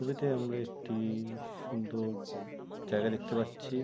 ছবিতে আমরা একটি-ই সুন্দর জায়গা দেখতে পারছি।